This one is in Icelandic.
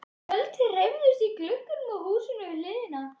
Tjöld hreyfðust í glugga á húsinu við hliðina.